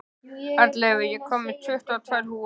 Arnleifur, ég kom með tuttugu og tvær húfur!